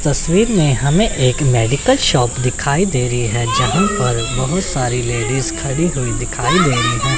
तस्वीर में हमें एक मेडिकल शॉप दिखाई दे रही है जहां पर बहुत सारे लेडीज खड़ी हुई दिखाई दे रही हैं।